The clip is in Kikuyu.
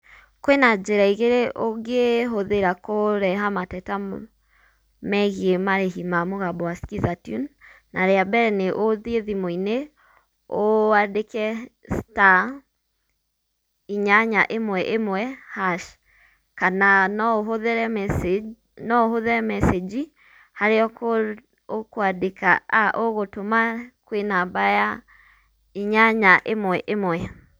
Kwĩ na njĩra igĩrĩ ũngĩhũthĩra kũreha mateta megiĩ marĩhi ma mũgambo wa Skiza tune. Narĩa mbere nĩũthiĩ thimũ-inĩ, wandĩke star inyanya ĩmwe ĩmwe hash. Kana no ũhũthĩre mecĩnji, no ũhũthĩre mecĩnji harĩa ũkwandĩka aah ũgũtũma kwĩ namba ya inyanya ĩmwe ĩmwe.